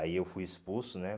Aí eu fui expulso, né?